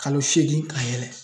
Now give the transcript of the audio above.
Kalo seegin ka yɛlɛ